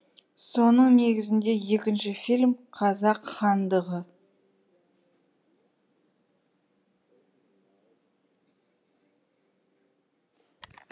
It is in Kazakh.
соның негізінде екінші фильм қазақ хандығы